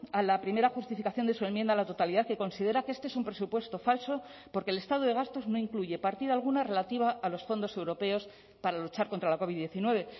a la primera justificación de su enmienda a la totalidad que considera que este es un presupuesto falso porque el estado de gastos no incluye partida alguna relativa a los fondos europeos para luchar contra la covid diecinueve